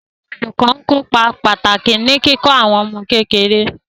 Àwọn olùkọ́ ń kópa pàtàkì ní kíkọ́ àwọn ọmọ kékeré.